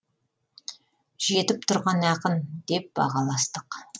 жетіп тұрған ақын деп бағаластық